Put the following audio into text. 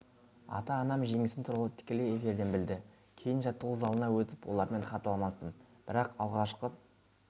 ата-анам жеңісім туралы тікелей эфирден білді кейін жаттығу залына өтіп олармен хат алмастым бірақ алғашқы